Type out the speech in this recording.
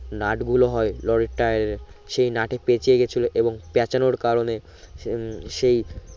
nut গুলো হয় লরির টায়ার এর সে নাটে পেচিয়ে গেছিলো এবং পেচানোর কারণে উম সেই